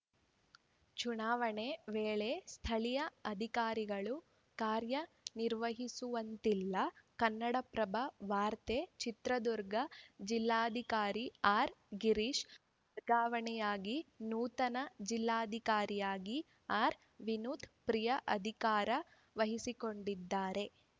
ಚುನಾವಣೆ ವೇಳೆ ಸ್ಥಳೀಯ ಅಧಿಕಾರಿಗಳು ಕಾರ್ಯನಿರ್ವಹಿಸುವಂತಿಲ್ಲ ಕನ್ನಡಪ್ರಭ ವಾರ್ತೆ ಚಿತ್ರದುರ್ಗ ಜಿಲ್ಲಾಧಿಕಾರಿ ಆರ್‌ ಗಿರೀಶ್‌ ವರ್ಗಾವಣೆಯಾಗಿ ನೂತನ ಜಿಲ್ಲಾಧಿಕಾರಿಯಾಗಿ ಆರ್‌ವಿನೋತ್‌ ಪ್ರಿಯಾ ಅಧಿಕಾರ ವಹಿಸಿಕೊಂಡಿದ್ದಾರೆ